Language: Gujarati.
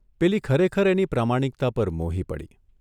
પેલી ખરેખર એની પ્રામાણિકતા પર મોહી પડી.